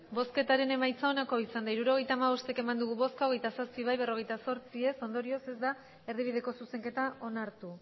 hirurogeita hamabost eman dugu bozka hogeita zazpi bai berrogeita zortzi ez ondorioz ez da erdibideko zuzenketa onartu